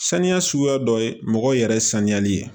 Saniya suguya dɔ ye mɔgɔw yɛrɛ sanuyali ye